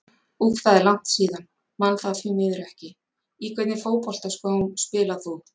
úff það er langt síðan, man það því miður ekki Í hvernig fótboltaskóm spilar þú?